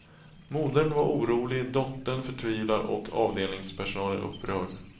Modern var orolig, dottern förtvivlad och avdelningspersonalen upprörd.